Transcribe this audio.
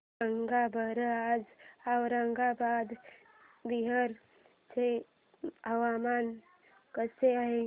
सांगा बरं आज औरंगाबाद बिहार चे हवामान कसे आहे